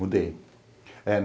Mudei. Eh